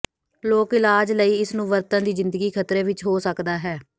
ਲੋਕ ਇਲਾਜ ਲਈ ਇਸ ਨੂੰ ਵਰਤਣ ਦੀ ਜ਼ਿੰਦਗੀ ਖ਼ਤਰੇ ਵਿਚ ਹੋ ਸਕਦਾ ਹੈ